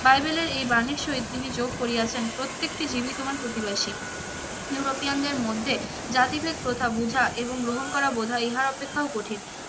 বাইবেলের এই বাণীর সহিত তিনি যোগ করিয়াছেন প্রত্যেকটি জীবই তোমার প্রতিবাশী। ইউরোপিয়ান দের মধ্যে জাতিভেদ প্রথা বোঝা এবং গ্রহণ করা বোঝা ইহা অপেক্ষাও কঠিন।